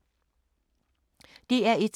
DR1